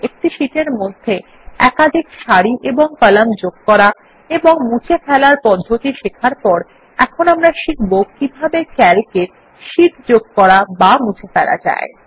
একটি শীট এর মধ্যে একাধিক সারি এবং কলাম যোগ করা এবং মুছে ফেলার পদ্ধতি শেখার পর এখন আমরা শিখব কিভাবে ক্যালক এ শীট যোগ করা এবং মুছে ফেলা যায়